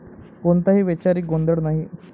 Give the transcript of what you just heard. कोणताही वैचारिक गोंधळ नाही.